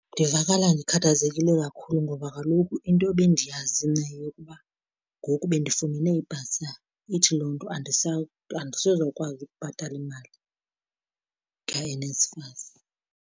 Ndivakala ndikhathazekile kakhulu ngoba kaloku into ebendiyazi mna yeyokuba ngoku bendifumene ibhasari, ithi loo nto andisezokwazi ukubhatala imali kaNSFAS.